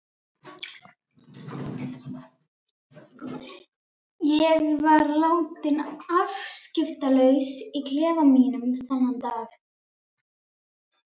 Ég var látin afskiptalaus í klefa mínum þennan dag.